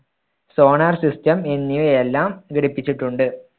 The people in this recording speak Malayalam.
solar system എന്നിവയെല്ലാം ഘടിപ്പിച്ചിട്ടുണ്ട്.